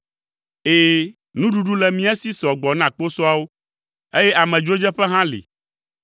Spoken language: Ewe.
Ɛ̃, nuɖuɖu le mía si sɔ gbɔ na kposɔawo, eye amedzrodzeƒe hã li.”